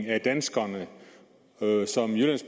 af danskerne som jyllands